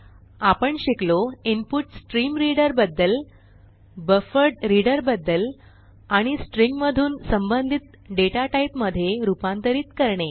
आपण शिकलो इन्पुटस्ट्रीमरीडर बद्दल बफरड्रीडर बद्दल आणि स्ट्रिंग मधून संबंधित डेटाटाईप मधे रूपांतिरत करणे